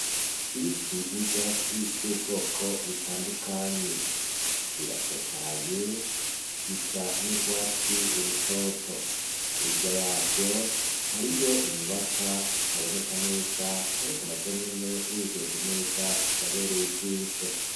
Ibiti n'ivyatsi, vy'ubwoko bitandukanye; biratotahaye, bisa n'urwatsi urutoto; hirya yavyo, hariyo inyubakwa zitaboneka neza, ariko na zonyene, wihweje neza, zirabereye ijisho.